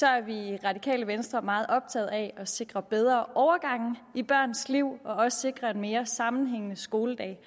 er vi i radikale venstre meget optagede af at sikre bedre overgange i børnenes liv og også sikre en mere sammenhængende skoledag